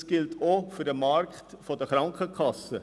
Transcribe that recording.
Das gilt auch für den Markt der Krankenkassen.